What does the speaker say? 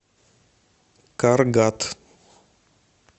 каргат